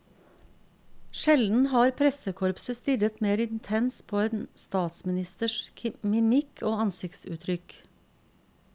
Sjelden har pressekorpset stirret mer intenst på en statsministers mimikk og ansiktsuttrykk.